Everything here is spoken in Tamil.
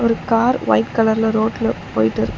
ஒரு கார் ஒயிட் கலர்ல ரோட்ல போயிட்டு இருக்கு.